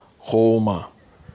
хоума